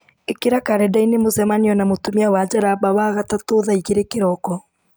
ĩkĩra karenda-inĩ mũcemanio na mũtumia wa njaramba wagatatũ thaa igĩrĩ kĩroko